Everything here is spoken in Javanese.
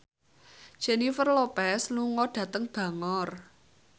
Jennifer Lopez lunga dhateng Bangor